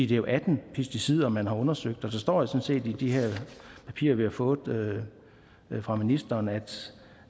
jo atten pesticider man har undersøgt og der står i de her papirer vi har fået fra ministeren at